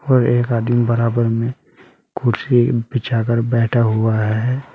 और एक आदमी बराबर में कुर्सी बिछा कर बैठा हुआ है।